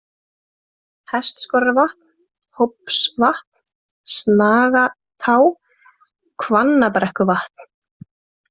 Hestskorarvatn, Hópsvatn, Snagatá, Hvannabrekkuvatn